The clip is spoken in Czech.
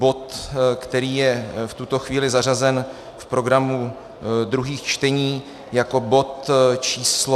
Bod, který je v tuto chvíli zařazen v programu druhých čtení jako bod číslo...